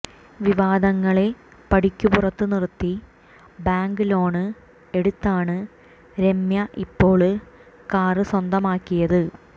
വിവാദങ്ങളെ പടിക്കുപുറത്ത് നിര്ത്തി bank loan എടുത്താണ് രമ്യ ഇപ്പോള് കാര് സ്വന്തമാക്കിയത്